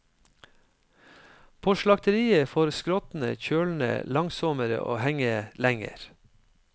På slakteriet får skrottene kjølne langsommere og henge lenger.